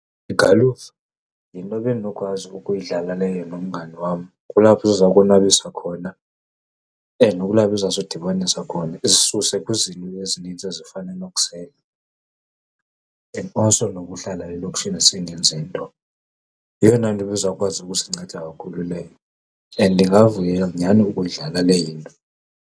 Igalufa yinto bendinokwazi ukuyidlala leyo nomngani wam. Kulapho zizakonwabisa khona and kulapho izawusidibanisa khona, isisuse kwizinto ezininzi ezifana nokusela and also nokuhlala elokishini singenzi nto. Yiyona nto ebizawukwazi ukusinceda kakhulu leyo and ndingavuya nyhani ukuyidlala leyo into.